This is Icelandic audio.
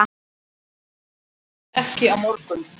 Og alls ekki á morgun.